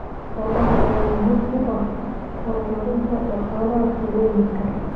Xoolahan ayaa muhiim u ah horumarinta dhaqaalaha tuulooyinka.